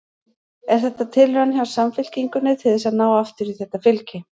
Er þetta tilraun hjá Samfylkingunni til þess að ná aftur í þetta fylgi?